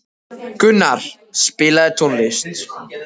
Gunnar, spilaðu tónlist.